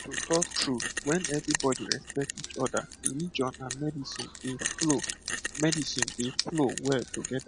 to talk true when everybody respect each other religion and medicine dey flow medicine dey flow well together